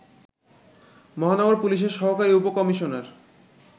মহানগর পুলিশের সহকারী উপ-কমিশনার